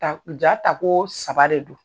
Ta ja tako saba de do.